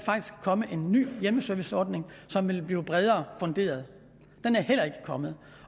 komme en ny hjemmeserviceordning som ville blive bredere funderet den er heller ikke kommet